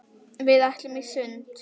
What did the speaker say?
Við ætluðum í sund.